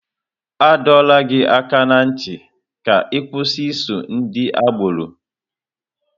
A dọrọ gị aka ná ntị ka ị kwụsị iso ndị agbọrọ!